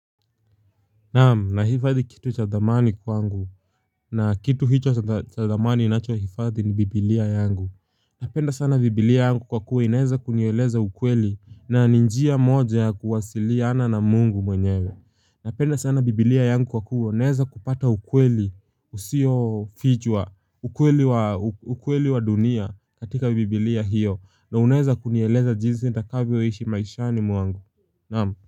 Nahifadhi kitu cha thamani kwangu na kitu hicho cha thamani ninachohifadhi ni biblia yangu. Napenda sana biblia yangu kwa kuwa inaeza kunieleza ukweli na ni njia moja ya kuwasiliana na mungu mwenyewe. Napenda sana biblia yangu kwa kuwa naeza kupata ukweli usiofichwa, ukweli wa dunia katika biblia hiyo na unaeza kunieleza jinsi nitakavyoishi maishani mwangu. Naam.